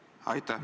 Aitäh!